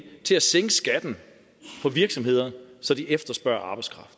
til at sænke skatten på virksomheder så de efterspørger arbejdskraft